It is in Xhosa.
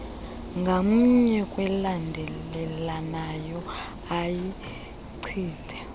ngamnye kwelandelelanayo ayichithe